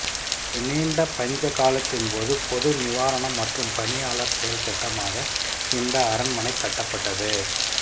ஒரு நீண்ட பஞ்ச காலத்தின் போது பொது நிவாரணம் மற்றும் பணியாளர் செயல்திட்டமாக இந்த அரண்மனைக் கட்டப்பட்டது